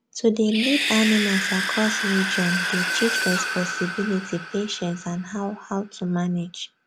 to dey lead animals across region dey teach responsibility patience and how how to manage